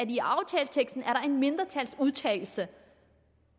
i aftaleteksten er en mindretalsudtalelse